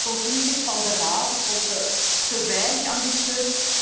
de conclusies van de Raad, ik vond ze te weinig ambitieus.